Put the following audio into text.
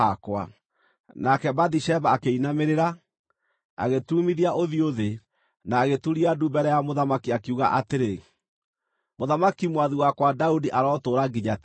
Nake Bathisheba akĩinamĩrĩra, agĩturumithia ũthiũ thĩ, na agĩturia ndu mbere ya mũthamaki, akiuga atĩrĩ, “Mũthamaki mwathi wakwa Daudi arotũũra nginya tene!”